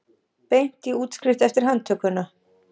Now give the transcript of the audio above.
Beint í útskrift eftir handtökuna